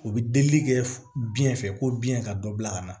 U bɛ delili kɛ biɲɛ fɛ ko biɲɛ ka dɔ bila ka na